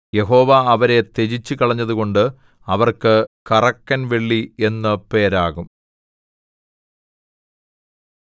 യഹോവ അവരെ ത്യജിച്ചുകളഞ്ഞതുകൊണ്ട് അവർക്ക് കറക്കൻവെള്ളി എന്നു പേരാകും